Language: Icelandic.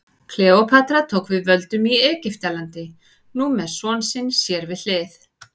Kleópatra tók við völdum í Egyptalandi, nú með son sinn sér við hlið.